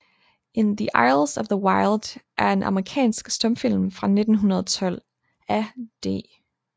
In the Aisles of the Wild er en amerikansk stumfilm fra 1912 af D